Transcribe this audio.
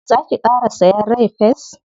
Za ki ƙara sayen rai-fes?